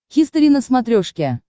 хистори на смотрешке